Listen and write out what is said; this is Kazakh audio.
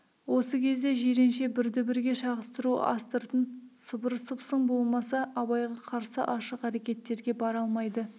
осы кезде жиренше бірді бірге шағыстыру астыртын сыбыр-сыпсың болмаса абайға қарсы ашық әрекеттерге бара алмайды